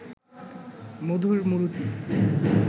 মধুর মূরতি